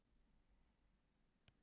hvað ertu að pæla vúlundur